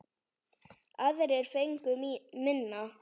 Aðrir fengu minna.